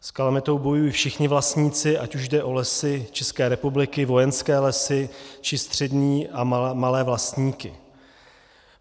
S kalamitou bojují všichni vlastníci, ať už jde o Lesy České republiky, Vojenské lesy, či střední a malé vlastníky.